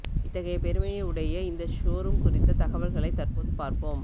இத்தகையை பெருமையை உடைய இந்த ஷோரூம் குறித்த தகவல்களை தற்போது பார்ப்போம்